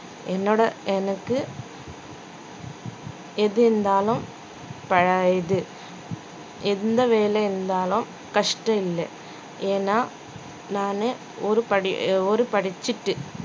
என்னோட எனக்கு எது இருந்தாலும் இது எந்த வேலை இருந்தாலும் கஷ்ட இல்ல ஏன்னா நானு ஒரு படி~ ஒரு படிச்சுட்டு